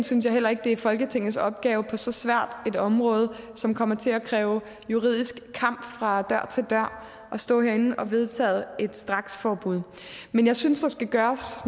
synes jeg heller ikke det er folketingets opgave på så svært et område som kommer til at kræve juridisk kamp fra dør til dør at stå herinde og vedtage et straksforbud men jeg synes der skal gøres